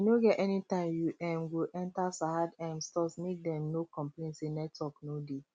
e no get any time you um go enter sahad um stores make dem no complain say network no dey